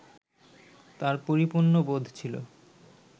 তাঁর পরিপূর্ণ বোধ ছিল